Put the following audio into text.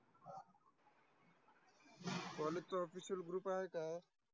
College चा official आहे का?